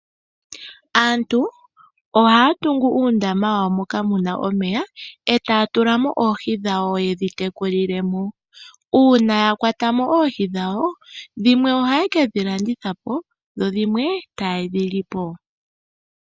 Aantu ohaya tungu uundama muna omeya e taya tula mo oohi yedhi tekulile mo. Uuna yakwata oohi ohaye kedhi landitha po dhimwe e taye dhi li po.